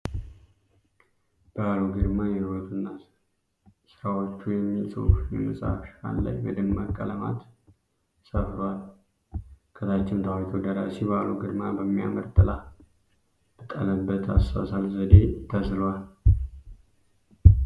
በአሉ ግርማ ህይወቱ እና ስራዎቹ የሚል ጽሁፍ የመጽሃፍ ሽፋን ላይ በደማቅ ቀለማት ሰፍሯል። ከታችም ታዋቂው ደራሲ በአሉ ግርማ በሚያምር ጥላ ባጠላበት አሳሳል ዘዴ ተስሏል።